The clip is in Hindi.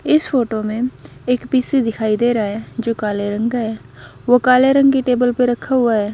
इस फोटो में एक पीसी दिखाई दे रहा है जो काले रंग का है वो काले रंग की टेबल पर रखा हुआ है।